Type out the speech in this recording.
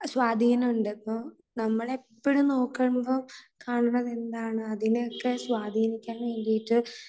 സ്വാധീനം ഉണ്ട്. ഇപ്പോ നമ്മളെപ്പോഴും നോക്കുമ്പോൾ കാണുന്നത് എന്താണ് അതിനെയൊക്കെ സ്വാധീനിക്കാൻ വേണ്ടിയിട്ട്